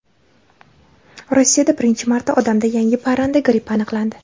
Rossiyada birinchi marta odamda yangi parranda grippi aniqlandi.